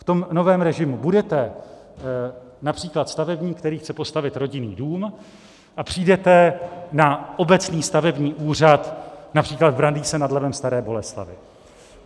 V tom novém režimu budete například stavebník, který chce postavit rodinný dům, a přijdete na obecný stavební úřad například v Brandýse nad Labem - Staré Boleslavi.